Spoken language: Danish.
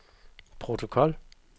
protokol